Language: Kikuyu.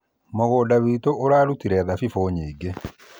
Mũgũnda witũ ũrarutire thabibu nyingĩ